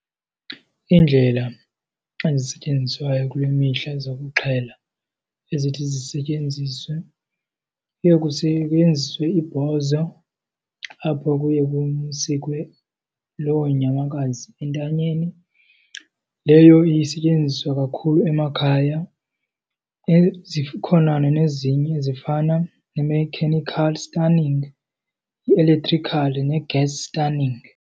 Iindlela ezisetyenziswayo kule mihla zokuxhela ezithi zisetyenziswe, kuye kusetyenziswe ibhozo apho kuye kusikwe loo nyamakazi entanyeni. Leyo isetyenziswa kakhulu emakhaya. Zikhona nezinye ezifana ne-mechanical stunning, i-electrical ne-gas stunning.